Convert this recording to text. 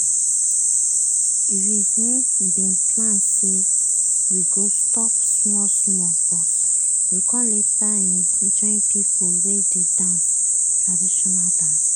we um bin plan say we go stop small small but we com later um join pipo wey dey dance traditional dance.